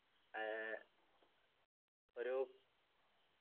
ഏർ ഒരു